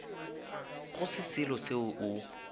go se selo seo o